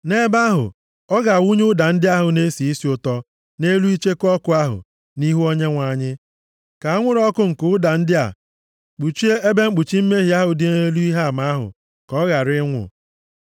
Nʼebe ahụ ọ ga-awụnye ụda ndị ahụ na-esi isi ụtọ nʼelu icheku ọkụ ahụ nʼihu Onyenwe anyị, ka anwụrụ ọkụ nke ụda ndị a kpuchie ebe mkpuchi mmehie ahụ dị nʼelu Ihe Ama ahụ ka ọ ghara ịnwụ.